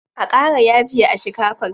A ƙara yaji a shikafar.